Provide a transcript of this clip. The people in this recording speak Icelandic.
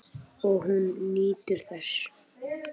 Og hún nýtur þess.